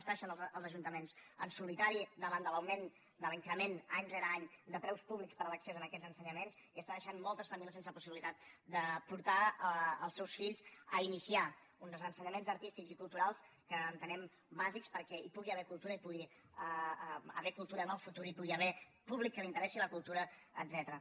està deixant els ajuntaments en solitari davant de l’augment de l’increment any rere any de preus públics per a l’accés a aquests ensenyaments i està deixant moltes famílies sense possibilitat de portar els seus fills a iniciar un dels ensenyaments artístics i cultu rals que entenem bàsics perquè hi pugui haver cultura i que hi pugui haver cultura en el futur i que hi pugui haver públic a qui li interessi la cultura etcètera